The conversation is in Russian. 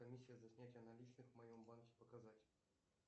комиссия за снятие наличных в моем банке показать